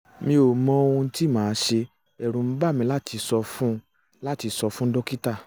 mi ò mọ ohun tí màá ṣe ẹ̀rù ń bà mí láti sọ fún láti sọ fún dókítà